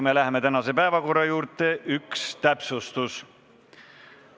Enne, kui läheme tänase päevakorra juurde, on üks täpsustus.